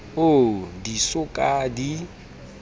oo di so ka di